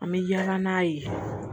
An bɛ yaala n'a ye